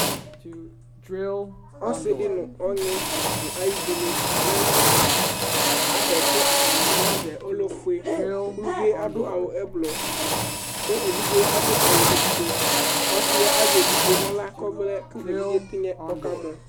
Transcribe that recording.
ɔsidi nu ɔŋi nu ayivini aʋlɛ na da, ada ku atani ʋlɛ lɛ ofue ku uvii ɖu awu ɛblu ku evidze la ɖu awu ofue, kɔsi azɛ evidze nu ala ku evidze tsinè ka mɔ